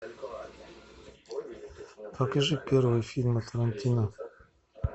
покажи первые фильмы тарантино